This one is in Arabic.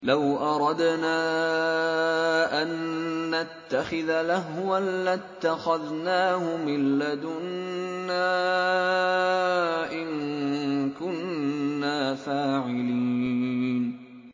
لَوْ أَرَدْنَا أَن نَّتَّخِذَ لَهْوًا لَّاتَّخَذْنَاهُ مِن لَّدُنَّا إِن كُنَّا فَاعِلِينَ